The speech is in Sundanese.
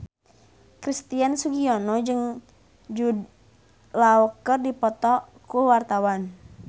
Christian Sugiono jeung Jude Law keur dipoto ku wartawan